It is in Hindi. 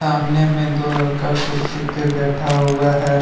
सामने में दो लड़का कुर्सी पे बैठा हुआ है।